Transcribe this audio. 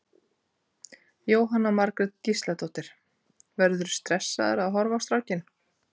Jóhanna Margrét Gísladóttir: Verðurðu stressaður að horfa á strákinn?